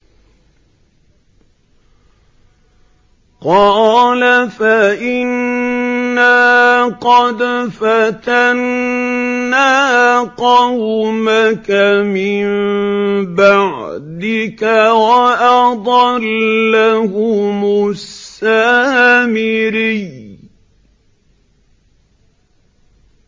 قَالَ فَإِنَّا قَدْ فَتَنَّا قَوْمَكَ مِن بَعْدِكَ وَأَضَلَّهُمُ السَّامِرِيُّ